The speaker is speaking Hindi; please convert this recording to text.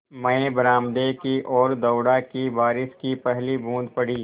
मैं बरामदे की ओर दौड़ा कि बारिश की पहली बूँद पड़ी